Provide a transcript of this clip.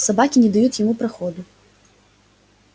собаки не дают ему проходу